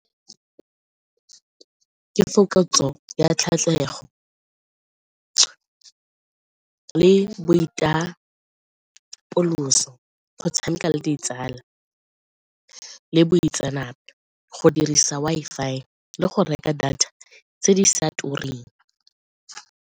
Ke le boitapoloso, go tshameka le ditsala le boitseanape, go dirisa Wi-Fi le go reka data tse di sa tureng.